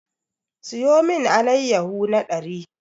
Siyo mun allayahu na ɗari!